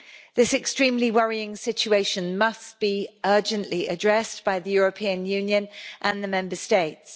This extremely worrying situation must be urgently addressed by the European Union and the Member States.